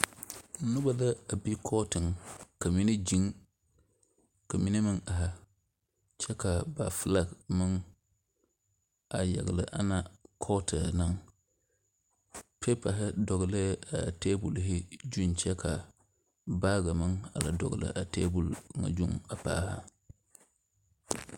Noba la be kɔɔtɔg ka mine ziŋ ka mine are kyɛ ka ba filag meŋ yagli ana kɔɔtɔŋ piipare dɔglɛɛ taabul zu kyɛ ka baagi meŋ dɔŋli a taabul na zu paali.